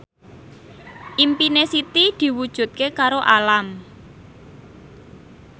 impine Siti diwujudke karo Alam